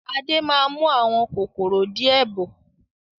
Adé máa mú àwọn kòkòrò di ẹ bọ̀